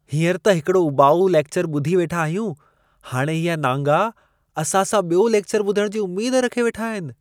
हींअरु त हिकड़ो उॿाऊ लेक्चरु ॿुधी वेठा आहियूं . हाणे इहे नांगा असां सां बि॒यो लेक्चर ॿुधणु जी उमेद रखे वेठा आहिनि!